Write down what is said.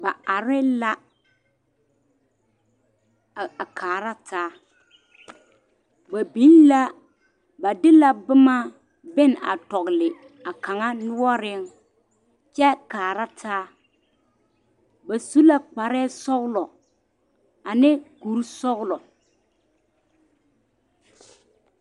Ba are la a kaara taa ba biŋ la ba de la boma biŋ a tɔgele a kaŋa noɔreŋ kyɛ kaara taa ba su la kparɛɛ sɔgelɔ ane kuri sɔgelɔ